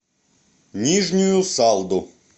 нижнюю салду